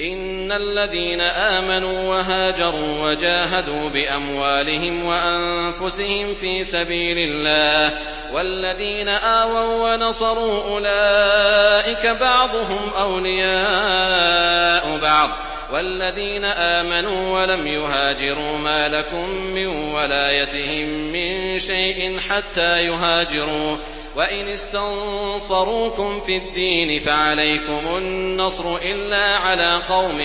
إِنَّ الَّذِينَ آمَنُوا وَهَاجَرُوا وَجَاهَدُوا بِأَمْوَالِهِمْ وَأَنفُسِهِمْ فِي سَبِيلِ اللَّهِ وَالَّذِينَ آوَوا وَّنَصَرُوا أُولَٰئِكَ بَعْضُهُمْ أَوْلِيَاءُ بَعْضٍ ۚ وَالَّذِينَ آمَنُوا وَلَمْ يُهَاجِرُوا مَا لَكُم مِّن وَلَايَتِهِم مِّن شَيْءٍ حَتَّىٰ يُهَاجِرُوا ۚ وَإِنِ اسْتَنصَرُوكُمْ فِي الدِّينِ فَعَلَيْكُمُ النَّصْرُ إِلَّا عَلَىٰ قَوْمٍ